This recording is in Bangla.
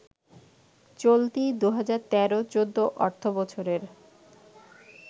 চলতি ২০১৩-১৪ অর্থবছরের